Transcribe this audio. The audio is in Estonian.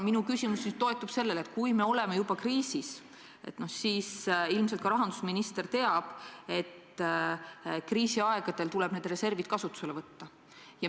Minu küsimus lähtub eeldusest, et kui me oleme juba kriisis, siis ilmselt ka rahandusminister teab, et kriisiaegadel tuleb need reservid kasutusele võtta.